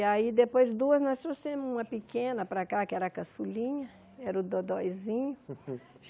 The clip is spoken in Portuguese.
E aí, depois duas, nós trouxemos uma pequena para cá, que era a Caçulinha, era o Dodóizinho.